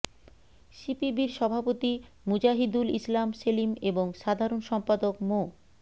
সিপিবির সভাপতি মুজাহিদুল ইসলাম সেলিম এবং সাধারণ সম্পাদক মো